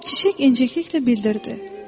Çiçək incikliklə bildirdi: